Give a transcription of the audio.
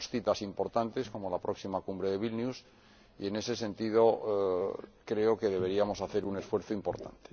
Tenemos citas importantes, como la próxima Cumbre de Vilna, y, en ese sentido, creo que deberíamos hacer un esfuerzo importante.